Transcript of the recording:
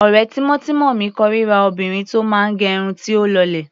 Ọ̀rẹ́ tímọ́tímọ́ mi kórira obìnrin tó máa gẹ irun tí ó lọlẹ̀.